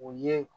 U ye